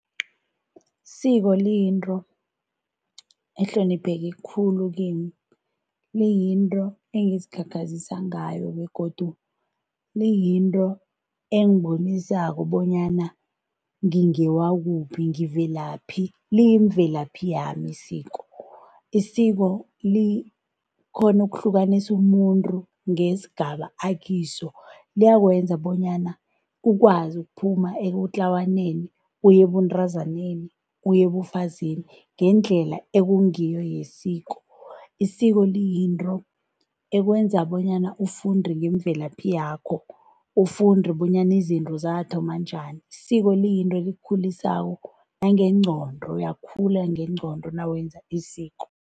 Isiko liyinto ehlonipheke khulu kimi liyinto engizikhakhazisa ngayo begodu liyinto engibonisako bonyana ngingewakuphi ngivelaphi liyimvelaphi yami isiko. Isiko likhona ukuhlukanisa umuntu ngesigaba akiso liyakwenza bonyana ukwazi ukuphuma ebutlawaneni uye ebuntazaneni uye ubufazini ngendlela ekungiyo yesiko. Isiko liyinto ekwenza bonyana ufunde ngemvelaphi yakho ufunde bonyana izinto zathoma njani. Isiko liyinto ekukhulisako nangegqondo uyakhula ngengqondo nawenza isiko.